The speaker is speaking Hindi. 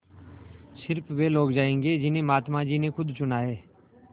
स़िर्फ वे लोग जायेंगे जिन्हें महात्मा जी ने खुद चुना है